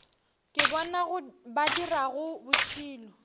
ke bona ba dirago bošilo